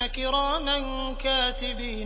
كِرَامًا كَاتِبِينَ